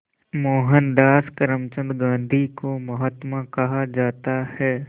मोहनदास करमचंद गांधी को महात्मा कहा जाता है